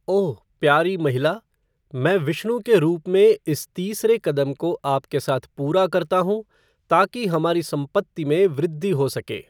ओह! प्यारी महिला, मैं विष्णु के रूप में इस तीसरे कदम को आपके साथ पूरा करता हूं ताकि हमारी संपत्ति में वृद्धि हो सके।